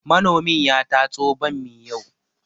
Manomin ya tatso bammi yau